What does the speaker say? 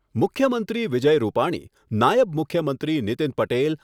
મુખ્યમંત્રી વિજય રૂપાણી, નાયબ મુખ્યમંત્રી નીતિન પટેલ